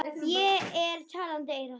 Ég er talandi eyra.